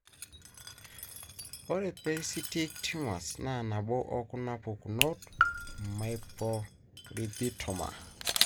ore Pericytic tumors na naboo okuna pukunot; myopericytoma.